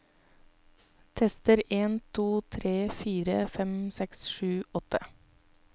Tester en to tre fire fem seks sju åtte